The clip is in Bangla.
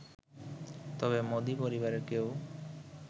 তবে মোদি পরিবারের কেউ